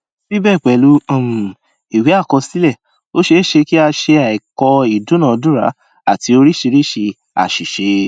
síbẹ pẹlú um ìwé àkọsílẹ ó ṣé ṣe kí a ṣe àìkọ ìdúnadúrà àti oríṣiríṣi àṣìṣe